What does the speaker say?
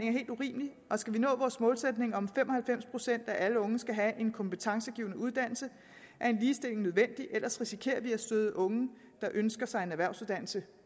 er helt urimelig og skal vi nå vores målsætning om at fem og halvfems procent af alle unge skal have en kompetencegivende uddannelse er en ligestilling nødvendig ellers risikerer vi at støde unge der ønsker sig en erhvervsuddannelse